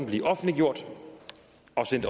blive offentliggjort og